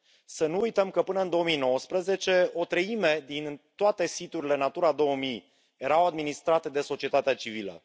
Să nu uităm că, până în 2019, o treime din toate siturile Natura 2000 era administrată de societatea civilă.